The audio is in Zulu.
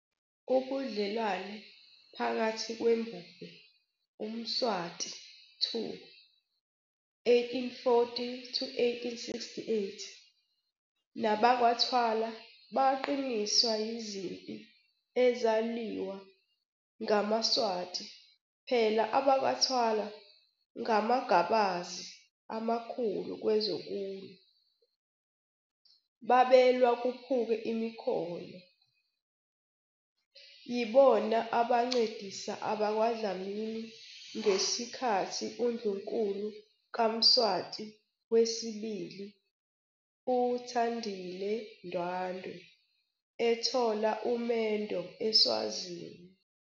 Ubudlelwano phakathi kweMbube uMswati 2, 1840-1868, nabakwaThwala baqiniswa yizimpi ezalwiwa ngamaSwazi phela abakwaThwala ngamagabazi amakhulu kwezokulwa, bebalwa kuphuke imikhono. Yibona abancedisa abakwaDlamini ngeskhathi uNdlunkulu kaMswati wesibili, u-Thandile Ndwandwe ethola umendo eSwazini.